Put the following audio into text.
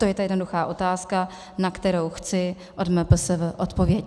To je ta jednoduchá otázka, na kterou chci od MPSV odpověď.